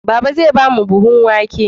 Baba zai ba mu buhun wake